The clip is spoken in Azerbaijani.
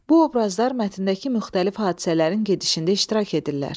Bu obrazlar mətndəki müxtəlif hadisələrin gedişində iştirak edirlər.